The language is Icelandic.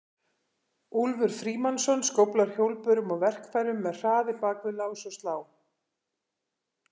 Úlfur Frímannsson skóflar hjólbörum og verkfærum með hraði bak við lás og slá.